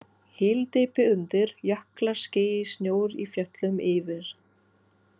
Hyldýpi undir, jöklar, ský, snjór í fjöllum yfir.